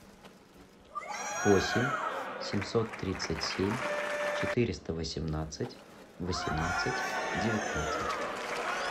восемь семьсот тридцать семь четыреста восемнадцать восемнадцать девятнадцать